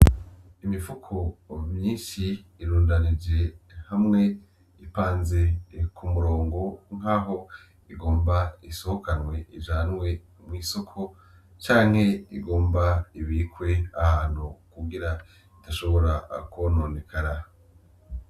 Imifuko myinshi iirundanije hamwe, ipanze kumurongo nkaho igomba isohokanwe ijanwe mwisoko canke igomba ibikwe ahantu kugira idashobora kwononekara.